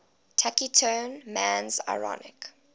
taciturn man's ironic